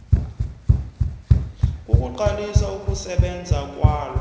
kokuqalisa ukusebenza kwalo